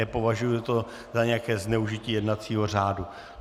Nepovažuji to za nějaké zneužití jednacího řádu.